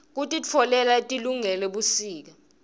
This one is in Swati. kukitoala letilungele busika